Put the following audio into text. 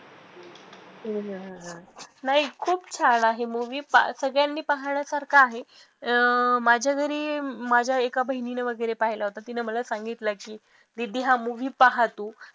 नाही खूप छान आहे movie सगळ्यांनी पाहण्यासारखा आहे अं माझ्या घरी माझ्या एका बहिणीने वैगरे सांगितला की दीदी हा movie पहा तू खूप